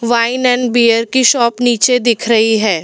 Wine and beer की shop नीचे दिख रही है।